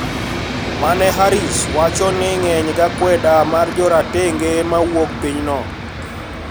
Ma ne Harris wacho ni ng`eny gi akwede mar joratenge ma wuok pinyno